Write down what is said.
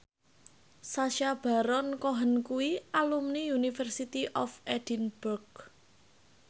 Sacha Baron Cohen kuwi alumni University of Edinburgh